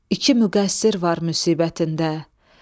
İki müqəssir var müsibətində.